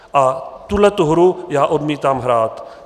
A tuhletu hru já odmítám hrát.